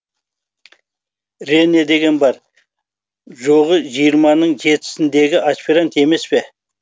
рене деген бар жоғы жиырманың жетісіндегі аспирант емес пе